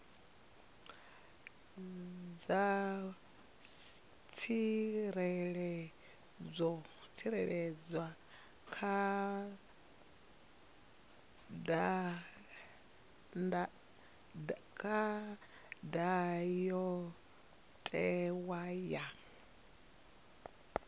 dza tsireledzwa kha ndayotewa ya